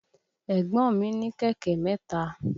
Ẹ̀gbọ́n mi ní kẹ̀kẹ́ mẹ́ta.